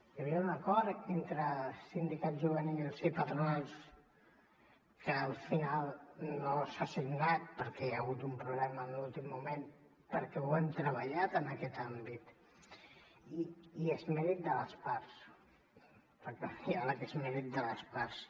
hi havia un acord entre sindicats juvenils i patronals que al final no s’ha signat perquè hi ha hagut un problema en l’últim moment perquè hi hem treballat en aquest àmbit i és mèrit de les parts perquè el diàleg és mèrit de les parts